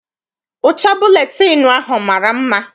Ụcha buletịịnụ ahụ mara mma.